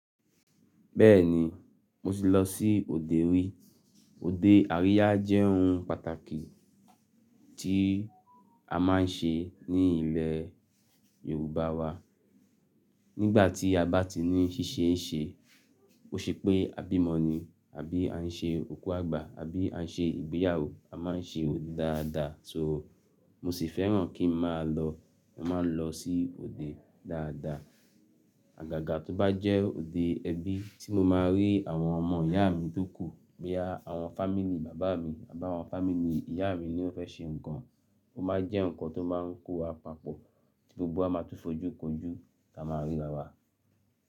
Bẹ́ẹ̀ni, mo ti lọ sí òde rí. Ode àríyá jẹ́ ohun pàtàkì tí a máa ń ṣe ní ilẹ̀ Yorùbá wa. Nígbà tí a bá ti ní ṣíṣe ń ṣe, bó ṣe pé a bímọ ni àbí à ń ṣe òkú àgbà àbí à ń ṣe ìgbéyàwó, a máa ń ṣe òde dáadáa. So mo sì fẹ́ràn kí n máa lọ, mo máa ń lọ sí òde dáadáa. Àgàgà tó bá jẹ́ òde ẹbí tí mo máa rí àwọn ọmọ ìyá mi tó kù bóyá àwọn fámílí bàbá mi àbí àwọn fámílí ìyá mi ni ó fẹ́ ṣe nǹkan, ó máa jẹ́ nǹkan tó máa ń kó wa papọ̀ tí gbogbo wa máa tún fojú kojú kí a máa ríra wa.